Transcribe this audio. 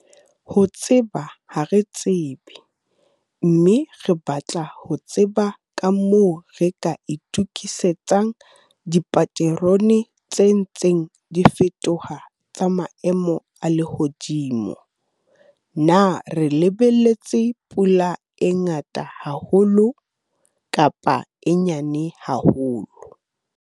Ho tseba ha re tsebe, mme re batla ho tseba ka moo re ka itokisetsang dipaterone tse ntseng di fetoha tsa maemo a lehodimo. Na re lebelletse pula e ngata haholo, kapa e nyane haholo?